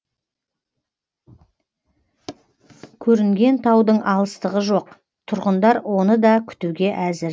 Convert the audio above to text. көрінген таудың алыстығы жоқ тұрғындар оны да күтуге әзір